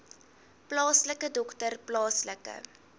plaaslike dokter plaaslike